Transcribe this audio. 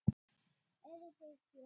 Eruð þið gift?